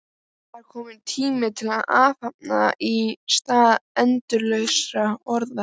Það er kominn tími til athafna í stað endalausra orða.